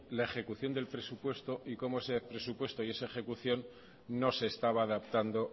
la ejecución del presupuesto y cómo ese presupuesto y esa ejecución no se estaba adaptando